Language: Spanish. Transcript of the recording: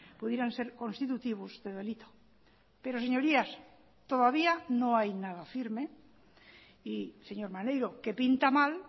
pudieran ser constitutivos de delito pero señorías todavía no hay nada firme y señor maneiro que pinta mal